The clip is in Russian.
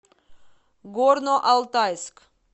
горно алтайск